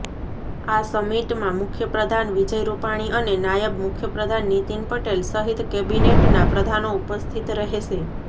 આ સમિટમાં મુખ્યપ્રધાન વિજય રૂપાણી અને નાયબ મુખ્યપ્રધાન નીતિન પટેલ સહિત કેબિનેટના પ્રધાનો ઉપસ્થિત રહેશે